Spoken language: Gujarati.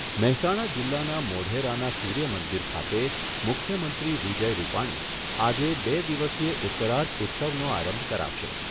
મહેસાણા જીલ્લાના મોઢેરાના સૂર્યમંદિર ખાતે મુખ્યમંત્રી વિજય રૂપાણી આજે બે દિવસીય ઉત્તરાર્ધ ઉત્સવનો આરંભ કરાવશે.